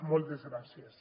moltes gràcies